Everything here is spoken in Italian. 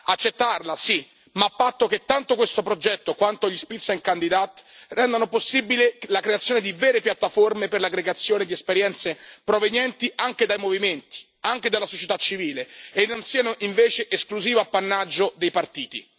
Accettarla sì, ma a patto che tanto questo progetto quanto gli Spitzenkandidaten rendano possibile la creazione di vere piattaforme per l'aggregazione di esperienze provenienti anche dai movimenti, anche dalla società civile, e non siano invece esclusivo appannaggio dei partiti.